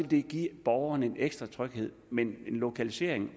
det give borgerne en ekstra tryghed men en lokalisering